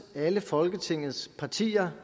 alle folketingets partier